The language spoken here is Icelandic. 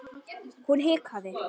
Hún hikaði.